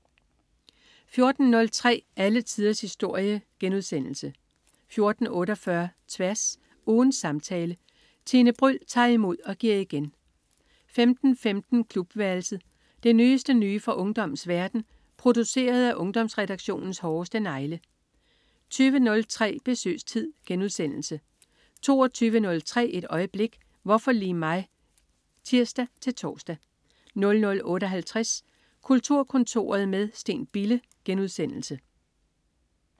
14.03 Alle tiders historie* 14.48 Tværs. Ugens samtale. Tine Bryld tager imod og giver igen 15.15 Klubværelset. Det nyeste nye fra ungdommens verden, produceret af Ungdomsredaktionens hårdeste negle 20.03 Besøgstid* 22.03 Et øjeblik: Hvorfor lige mig? (tirs-tors) 00.58 Kulturkontoret med Steen Bille*